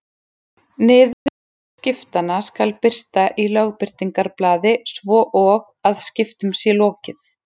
Niðurstöður skiptanna skal birta í Lögbirtingablaði svo og að skiptum sé lokið.